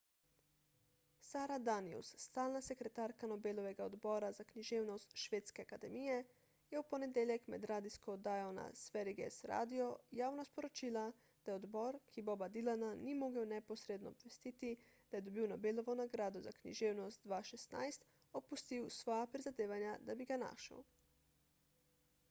sara danius stalna sekretarka nobelovega odbora za književnost švedske akademije je v ponedeljek med radijsko oddajo na sveriges radio javno sporočila da je odbor ki boba dylana ni mogel neposredno obvestiti da je dobil nobelovo nagrado za književnost 2016 opustil svoja prizadevanja da bi ga našel